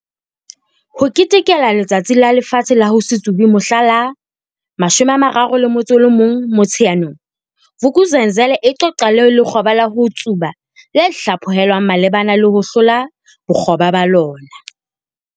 HO KETEKELA Letsatsi la Lefatshe la ho se Tsube mohla la 31 Motsheanong, Vuk'uzenzele e qoqa le lekgoba la ho tsuba le hlaphohelwang malebana le ho hlola bokgoba ba lona.